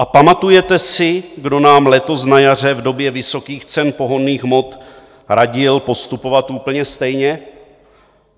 A pamatujete si, kdo nám letos na jaře v době vysokých cen pohonných hmot radil postupovat úplně stejně?